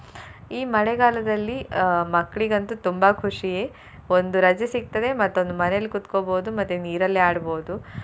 ಈ ಮಳೆಗಾಲದಲ್ಲಿ ಅಹ್ ಮಕ್ಳಿಗಂತು ತುಂಬಾ ಖುಷಿಯೇ. ಒಂದು ರಜೆ ಸಿಕ್ತದೆ ಮತ್ತೊಂದು ಮನೆಯಲ್ಲಿ ಕೂತ್ಕೊಬೋದು ಮತ್ತೆ ನೀರಲ್ಲಿ ಆಡ್ಬೋದು.